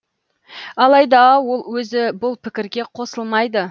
алайда ол өзі бұл пікірге қосылмайды